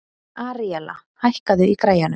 Aríella, hækkaðu í græjunum.